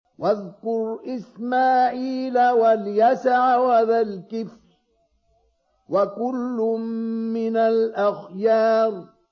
وَاذْكُرْ إِسْمَاعِيلَ وَالْيَسَعَ وَذَا الْكِفْلِ ۖ وَكُلٌّ مِّنَ الْأَخْيَارِ